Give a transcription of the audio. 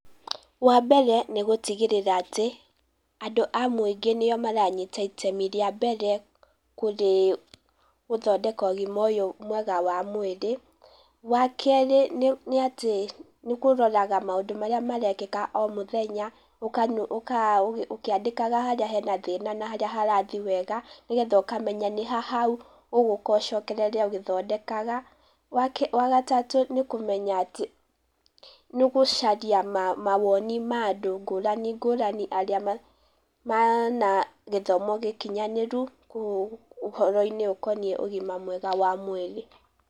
Wa mbere nĩ gũtigĩrĩra atĩ, andũ a mũingĩ nĩo maranyita itemi rĩa mbere, kũrĩ gũthondeka ũgima ũyũ wa mwĩri. Wa kerĩ nĩ atĩ, nĩ kũroraga maũndũ marĩa marekĩka o mũthenya, ũkĩandĩkaga harĩa hena thĩna na harĩa harathi wega, nĩgetha ũkamenya nĩha hau ũgũka ũcokererie ũgĩthondekaga. Wa gatatũ nĩ kũmenya atĩ, nĩ ũgũcaria mawoni ma andũ ngũrani ngũrani arĩa mena gĩthomo gĩkinyanĩru, ũhoro-inĩ ũkoniĩ ũgima mwega wa mwĩrĩ.